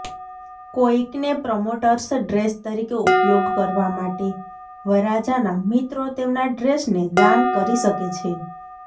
કોઈકને promoters dress તરીકે ઉપયોગ કરવા માટે વરરાજાના મિત્રો તેમના ડ્રેસને દાન કરી શકે છે